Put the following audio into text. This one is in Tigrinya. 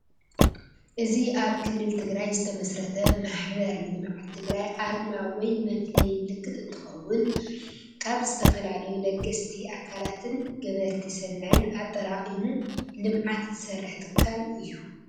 እዚ አብ ክልል ትግራይ ዝተመስረተ ማሕበር ልምዓት ትግራይ አርማ ወይ መፍለይ ምልክት እንትኸውን ካብ ዝተፈላለዩ ለገስቲ አካላትን ገበርቲ ሰናይን አጠራቂሙ ልምዓት ዝሰርሕ ትካል እዩ።